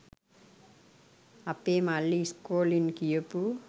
අපේ මල්ලි ඉස්කෝලෙන් ගියපු